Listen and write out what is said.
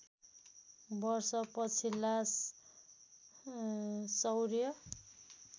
वर्ष पछिल्ला सौर्य